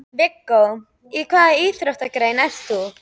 Viggó: Í hvaða íþróttagrein ert þú?